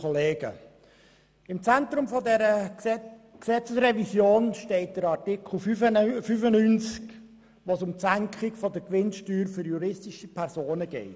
Im Zentrum dieser Gesetzesrevision steht der Artikel 95, in dem es um die Senkung der Gewinnsteuer für juristische Personen geht.